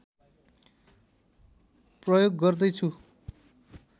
प्रयोग गर्दैछु